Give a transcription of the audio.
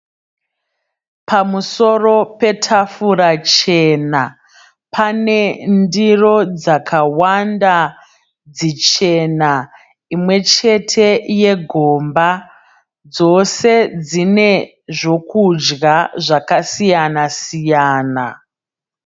Pamusoro petafura chena. Pane ndiro dzakawanda dzichena. Imwechete yegomba. Dzose dzine zvokudya zvakasiyana -siyana.